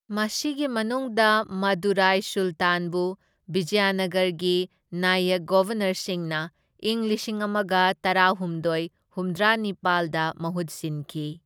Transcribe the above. ꯃꯁꯤꯒꯤ ꯃꯅꯨꯡꯗ ꯃꯗꯨꯔꯥꯏ ꯁꯨꯂꯇꯥꯟꯕꯨ ꯕꯤꯖꯌꯅꯒꯔꯒꯤ ꯅꯥꯌꯛ ꯒꯕꯔꯅꯔꯁꯤꯡꯅ ꯢꯪ ꯂꯤꯁꯤꯡ ꯑꯃꯒ ꯇꯔꯥꯍꯨꯝꯗꯣꯢ ꯍꯨꯝꯗ꯭ꯔꯥꯅꯤꯄꯥꯜꯗ ꯃꯍꯨꯠ ꯁꯤꯟꯈꯤ꯫